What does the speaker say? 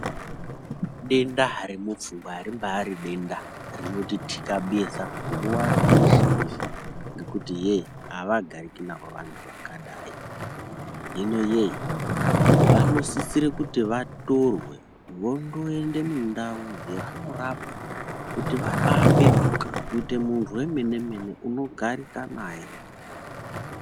Denda remupfungwa ribaari denda rinotitikhabeza nguwa yeshe yeshe ngekuti yee, avagariki navo vantu vakadai hino yee, vanosisire kuti vatorwe vondo ende mundau dzevanorapwa kuti vaba apetuka kuite munhu wemenemene unogarika naye.